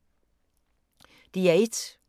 DR1